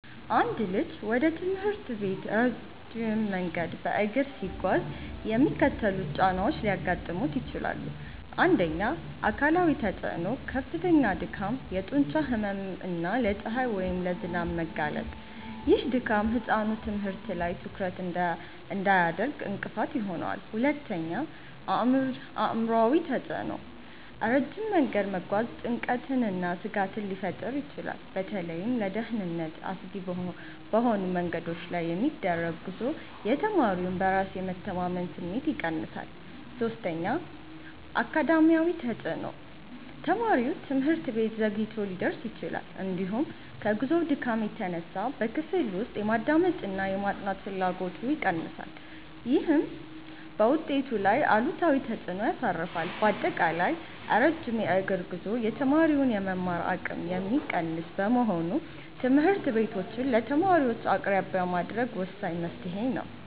አንድ ልጅ ወደ ትምህርት ቤት ረጅም መንገድ በእግር ሲጓዝ የሚከተሉት ጫናዎች ሊያጋጥሙት ይችላል፦ 1. አካላዊ ተፅዕኖ፦ ከፍተኛ ድካም፣ የጡንቻ ህመም እና ለፀሐይ ወይም ለዝናብ መጋለጥ። ይህ ድካም ህጻኑ ትምህርት ላይ ትኩረት እንዳያደርግ እንቅፋት ይሆናል። 2. አእምሯዊ ተፅዕኖ፦ ረጅም መንገድ መጓዝ ጭንቀትንና ስጋትን ሊፈጥር ይችላል። በተለይም ለደህንነት አስጊ በሆኑ መንገዶች ላይ የሚደረግ ጉዞ የተማሪውን በራስ የመተማመን ስሜት ይቀንሳል። 3. አካዳሚያዊ ተፅዕኖ፦ ተማሪው ትምህርት ቤት ዘግይቶ ሊደርስ ይችላል፤ እንዲሁም ከጉዞው ድካም የተነሳ በክፍል ውስጥ የማዳመጥና የማጥናት ፍላጎቱ ይቀንሳል። ይህም በውጤቱ ላይ አሉታዊ ተፅዕኖ ያሳርፋል። ባጠቃላይ፣ ረጅም የእግር ጉዞ የተማሪውን የመማር አቅም የሚቀንስ በመሆኑ ትምህርት ቤቶችን ለተማሪዎች አቅራቢያ ማድረስ ወሳኝ መፍትሔ ነው።